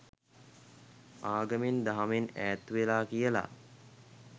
ආගමෙන් දහමෙන් ඈත් වෙලා කියලා.